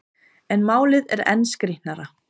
En málið er enn skrýtnara.